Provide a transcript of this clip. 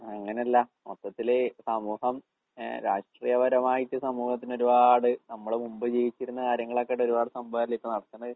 അങ്ങനല്ല. മൊത്തത്തില് സമൂഹം ഏഹ് രാഷ്ട്രീയപരമായിട്ട് സമൂഹത്തിനൊരുപാട് നമ്മളെ മുമ്പേ ജീവിച്ചിരുന്ന കാര്യങ്ങളൊക്കെ ഒരുപാട് സംഭവല്ലേ ഇപ്പ നടക്കണത്.